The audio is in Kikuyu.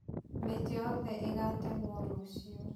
Mĩtĩ yothe ĩgatemũo rũciũ.